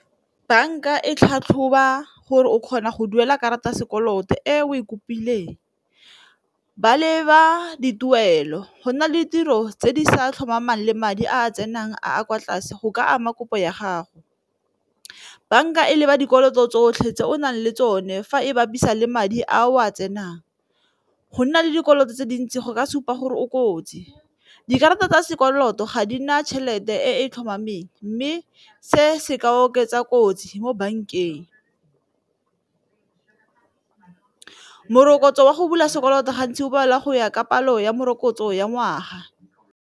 Banka e tlhatlhoba gore o kgona go duela karata ya sekoloto e o e kopileng, ba leba dituelo go nna le ditiro tse di sa tlhomamang le madi a tsenang a a kwa tlase go ka ama kopo ya gago. Banka e leba dikoloto tsotlhe tse o nang le tsone fa e bapiswa le madi a o a tsenang. Go nna le dikoloto tse dintsi go ka supa gore o kotsi dikarata tsa sekoloto ga di na tšhelete tlhomameng e mme se se ka oketsa kotsi mo bankeng, morokotso wa go bula sekoloto gantsi o balwa go ya ka palo ya morokotso ya ngwaga.